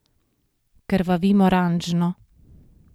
Krvavim oranžno.